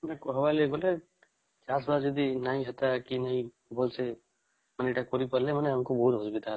ତଆମେ କାହାବର ହେଲେ ମାନେ ଏଇଟା କରିପାରିଲେ ଆମକୁ ବୋହୁତ ଅସୁବିଧା